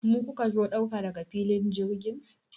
Mu kuka zo ɗauka daga filin jirgin?